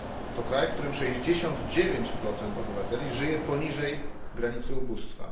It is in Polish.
to kraj, w którym 69 obywateli żyje poniżej granicy ubóstwa